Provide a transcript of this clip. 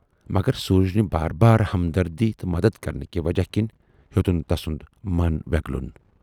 مگر سوٗرجنہِ بار بار ہمدردی تہٕ مدد کَرنٕکہِ وجہہ کِنۍ ہیوتُن تسُند مَن وٮ۪گلُن۔